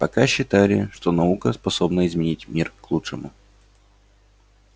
пока считали что наука способна изменить мир к лучшему